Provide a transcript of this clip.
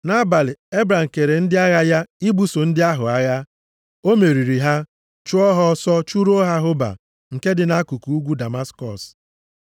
Nʼabalị, Ebram kere ndị agha ya ibuso ndị ahụ agha. O meriri ha, chụọ ha ọsọ, chụruo ha Hoba, nke dị nʼakụkụ ugwu Damaskọs.